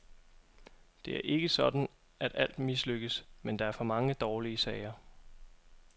Det er ikke sådan at alt mislykkes, men der er for mange dårlige sager.